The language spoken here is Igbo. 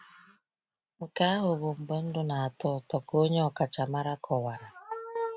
“Nke ahụ bụ mgbe ndụ na-atọ ụtọ,” ka onye ọkachamara kọwara.